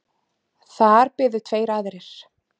Þar biðu tveir aðrir.